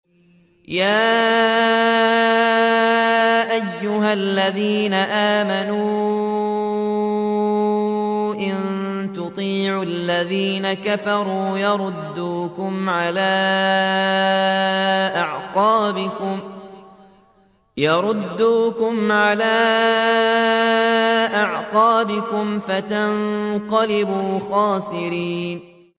يَا أَيُّهَا الَّذِينَ آمَنُوا إِن تُطِيعُوا الَّذِينَ كَفَرُوا يَرُدُّوكُمْ عَلَىٰ أَعْقَابِكُمْ فَتَنقَلِبُوا خَاسِرِينَ